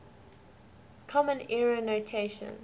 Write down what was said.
common era notation